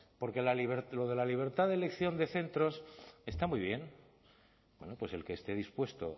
porque lo de la libertad de elección de centros está muy bien bueno pues el que esté dispuesto